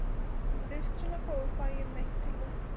En fyrst svona fór fæ ég mig ekki til þess.